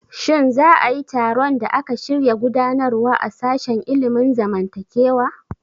Shin za a yi taron da aka shirya gudanarwa a sashen ilimin zamantakewa?